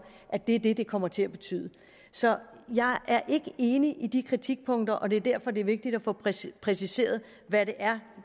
at det er det det kommer til at betyde så jeg er ikke enig i de kritikpunkter og det er derfor det er vigtigt at få præciseret præciseret hvad det er